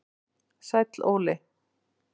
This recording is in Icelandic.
Sæll Óli